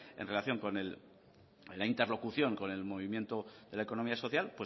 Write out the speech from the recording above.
en relación con la interlocución con el movimiento de la economía social